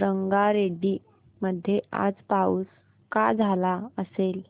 रंगारेड्डी मध्ये आज पाऊस का झाला असेल